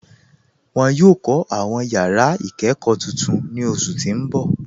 Wọn yọ kọ awọn yara ikẹkọ tuntun ni oṣu ti n bọ.